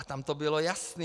A tam to bylo jasné.